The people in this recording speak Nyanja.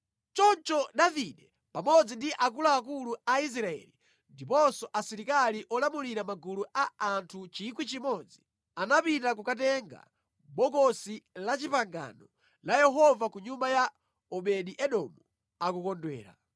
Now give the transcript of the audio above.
Choncho Davide pamodzi ndi akuluakulu a Israeli ndiponso asilikali olamulira magulu a anthu 1,000, anapita kukatenga Bokosi la Chipangano la Yehova ku nyumba ya Obedi-Edomu akukondwera.